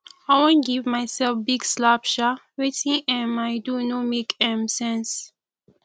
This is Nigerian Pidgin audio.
i wan give myself big slap um wetin um i do no make um sense